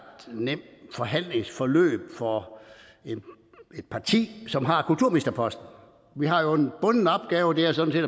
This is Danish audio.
nemt forhandlingsforløb for et parti som har kulturministerposten vi har jo en bunden opgave og det er sådan